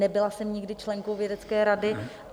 Nebyla jsem nikdy členkou vědecké rady.